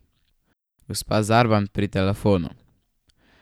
Gospa Zarban pri telefonu.